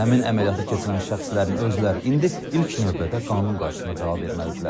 Həmin əməliyyatı keçirən şəxslərin özləri indi ilk növbədə qanun qarşısında cavab verməlidirlər.